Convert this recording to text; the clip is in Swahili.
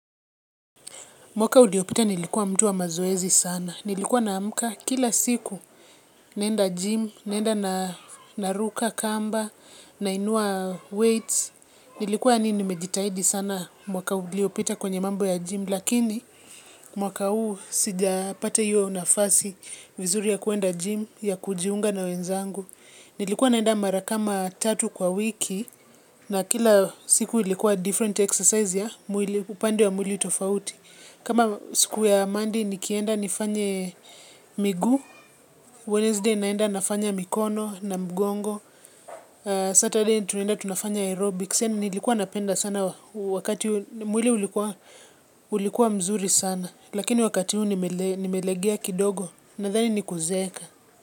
Mwaka uliopita nilikuwa mtu wa mazoezi sana. Nilikuwa na amka kila siku naenda gym, nenda na ruka kamba, nainua weights. Nilikuwa yani nimejitahidi sana mwaka uliopita kwenye mambo ya gym. Lakini mwaka huu sija pata hiyo nafasi vizuri ya kuenda gym, ya kujiunga na wenzangu. Nilikuwa naenda mara kama tatu kwa wiki na kila siku ilikuwa different exercise ya upande wa mwili tofauti. Kama siku ya monday nikienda nifanye miguu, Wednesday naenda nafanya mikono na mgongo. Saturday tunenda tunafanya aerobics, nilikuwa napenda sana wakati huo. Mwili ulikuwa mzuri sana lakini wakati huu nimelegea kidogo nadhani ni kuzeeka.